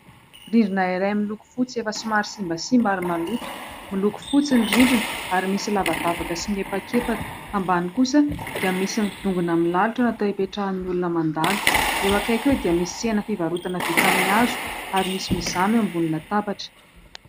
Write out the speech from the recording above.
Rindrina iray miloko fotsy efa somary simbasimba ary maloto, miloko fotsy ny rindrina ary misy lavadavaka sy miepakepaka, ambany kosa dia misy ny dongona milalotra natao hipetrahan'ny olona mandalo, eo akaiky eo dia misy tsena fivarotana vita amin'ny hazo ary misy mizàna eo ambony latabatra.